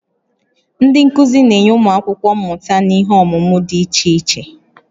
Ndị nkuzi na-enye ụmụ akwụkwọ mmụta n'ihe ọmụmụ dị iche iche